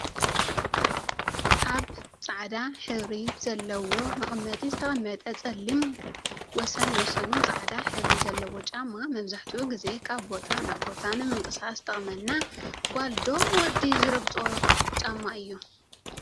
ኣብ ፃዕዳ ሕብረቲ ዘለዎ መቀመጢ ዝተቀመጠ ፀሊም ወሰን ወሰኑ ፃዕዳ ሕብሪ ዘለዎ ጫማ መብዛሕቲኡ ግዜ ካብ ቦታ ናብ ቦታ ንምንቅስቃስ ዝጠቅመና ጎልዶ ወዲ ዝረግፆ ጫማ እዩ?